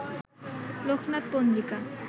লোকনাথ পঞ্জিকা